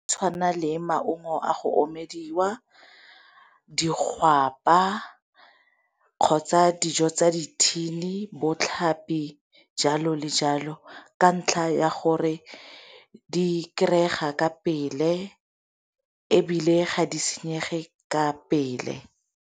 Tshwana le maungo a go omelediwa di gapa kgotsa dijo tsa di thini bo tlhapi jalo le jalo, ka ntlha ya gore di kry-ega ka pele ebile ga di senyege ka pele.